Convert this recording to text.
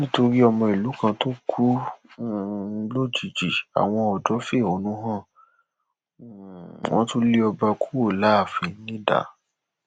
nítorí ọmọ ìlú kan tó kú um lójijì àwọn odò fẹhónú hàn um wọn tún lé ọba kúrò láàfin nidà